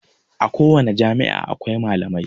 A kowani jami'a akwai malamai